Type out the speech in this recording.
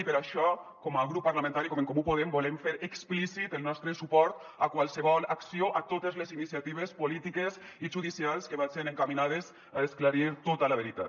i per això com a grup parlamentari com a en comú podem volem fer explícit el nostre suport a qualsevol acció a totes les iniciatives polítiques i judicials que vagen encaminades a esclarir tota la veritat